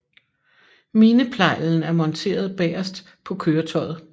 Mineplejlen er monteret bagerst på køretøjet